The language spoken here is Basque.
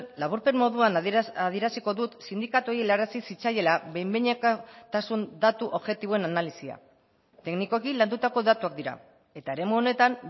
laburpen moduan adieraziko dut sindikatuei helarazi zitzaiela behinekotasun datu objektiboen analisia teknikoki landutako datuak dira eta eremu honetan